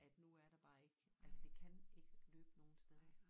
At nu er der bare ik altså det kan ikke løbe nogen steder